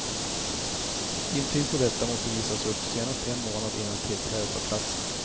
Intyg på detta måste visas upp senast en månad innan tillträdet av platsen.